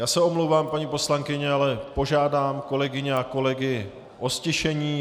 Já se omlouvám, paní poslankyně, ale požádám kolegyně a kolegy o ztišení.